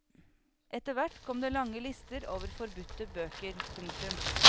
Etterhvert kom det lange lister over forbudte bøker. punktum